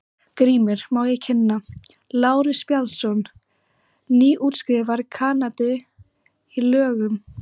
GRÍMUR: Má ég kynna: Lárus Bjarnason, nýútskrifaður kandidat í lögum.